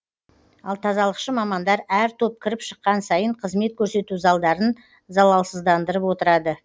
ал тазалықшы мамандар әр топ кіріп шыққан сайын қызмет көрсету залдарын залалсыздандырып отырады